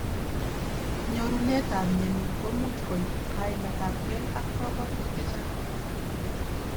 Nyorunet ab mnyeni komuch koib kaimet abkei ak kabwatutik chechang.